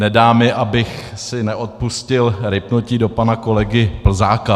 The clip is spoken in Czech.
Nedá mi, abych si neodpustil rýpnutí do pana kolegy Plzáka.